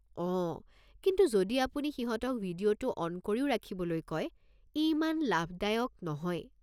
অঁ, কিন্তু যদি আপুনি সিহঁতক ভিডিঅ'টো অন কৰিও ৰাখিবলৈ কয়, ই ইমান লাভদায়ক নহয়।